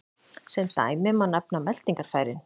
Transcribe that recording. Sem dæmi má nefna meltingarfærin.